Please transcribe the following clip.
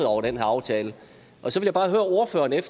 over den her aftale så vil